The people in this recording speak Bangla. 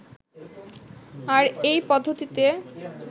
আর এই পদ্ধতিতে